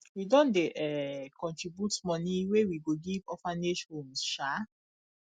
we don dey um contribute moni wey we go give orphanage homes um